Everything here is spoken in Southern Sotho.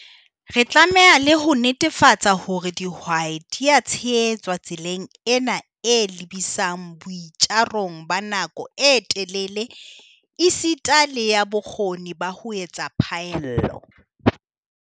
Re tlameha le ho netefatsa hore dihwai di a tshehetswa tseleng ena e lebisang boi tjarong ba nako e telele esita le ya bokgoni ba ho etsa phaello.